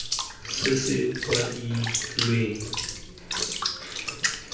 se se kwadilweng bokao jo